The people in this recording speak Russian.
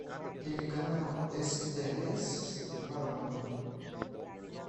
телеканал стс воронины